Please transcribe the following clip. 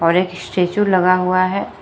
और एक स्टैचू लगा हुआ है।